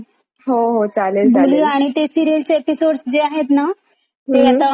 ते सीरियल चे एपिसोड्स आहेत ना; ते आता मी पण मला असच बघायला लगेल झी फाईव्ह वर.